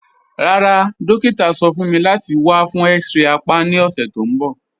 Rárá, dòkítà sọ̀ fún mí láti wà fún x-ray àpá ni ọṣẹ̀ tó nbọ̀